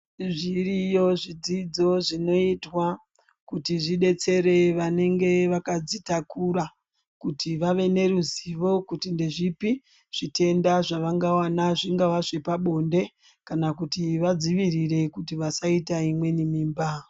Zviriyo zvidzidzo zvinoitwa kuti zvibetsere vanonge vakadzitakura. Kuti vave neruzivo kuti ndezvipi zvitenda zvavangavana zvingava zvepabonde, kana kuti vadzivirire kuti vasaita imweni mimba.